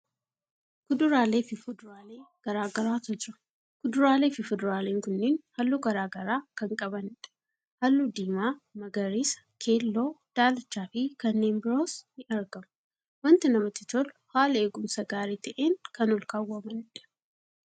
Kuduraalee fi fuduraalee garagaraatu jira. Kuduraalee fi fuduraalen kunniin haalluu garagaraa kan qabaniidha. Haalluu diimaa, magariisa, keelloo, daalachaa fi kanneen biroos ni argamu. Wanti namatti tolu haala eeggumsa gaarii ta'een kan olkaawwamaniidha.